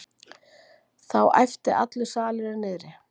Þá æpti allur salurinn niðri.